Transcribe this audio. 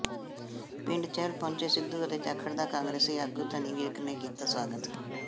ਪਿੰਡ ਚਹਿਲ ਪੁੱਜੇ ਸਿੱਧੂ ਅਤੇ ਜਾਖੜ ਦਾ ਕਾਂਗਰਸੀ ਆਗੂ ਧਨੀ ਵਿਰਕ ਨੇ ਕੀਤਾ ਸਵਾਗਤ